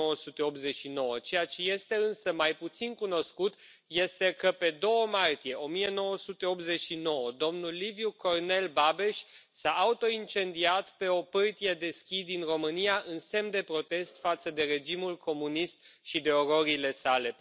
1989. Ceea ce este însă mai puțin cunoscut este că, pe 2 martie 1989, domnul Liviu Cornel Babeș s a autoincendiat pe o pârtie de schi din România în semn de protest față de regimul comunist și de ororile sale.